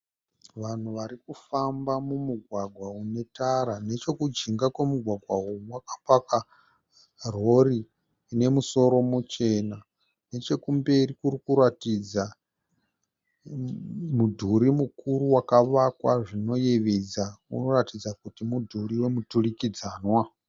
Vanhu varikufamba mumugwagwa unetara . Nechekujinga kwomugwagwa uyu kwakapakwa Rori ine musoro muchena . Nechekumberi kuri kuratidza mudhuri mukuru wakavakwa zvinoyevedza unoratidza kuti mudhuri wemuturikidzanwa .